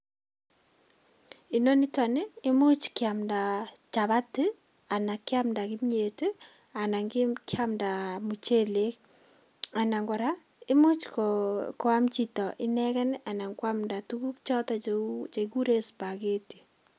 Inoniton ni imuch kiamda chapati ii, ana kiamda kimiet ii anan kimiet ii kiamda muchelek anan kora imuch ko koam chito ineken anan koamda tugukchoton chekikuren spaghetti.